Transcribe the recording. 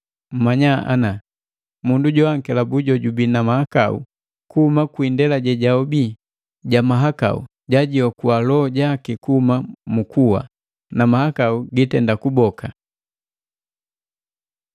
mmanya ana, mundu joankelabuki jojubii na mahakau kuhuma kwi indela jejahobi ja mahakau, jajiokua loho jaki kuhuma mu kuwa, na mahakau gitenda kuboka.